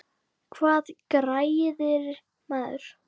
Hvað græðir maður?